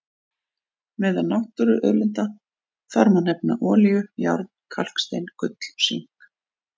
Meðal náttúruauðlinda þar má nefna olíu, járn, kalkstein, gull og sink.